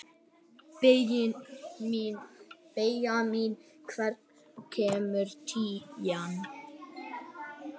Benjamín, hvenær kemur tían?